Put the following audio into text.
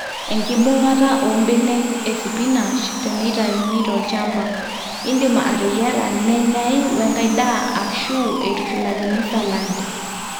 enkibung'ata oombenek esipinash teneitauni tolchamba, iindim ateyiarra nenyai wenkai daa aashu eitushulakini salad